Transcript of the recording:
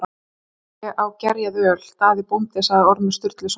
Ég á gerjað öl, Daði bóndi, sagði Ormur Sturluson.